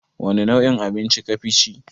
Wani nau'in abinci kafi ci?